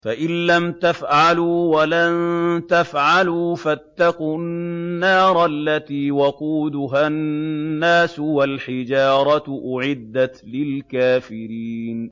فَإِن لَّمْ تَفْعَلُوا وَلَن تَفْعَلُوا فَاتَّقُوا النَّارَ الَّتِي وَقُودُهَا النَّاسُ وَالْحِجَارَةُ ۖ أُعِدَّتْ لِلْكَافِرِينَ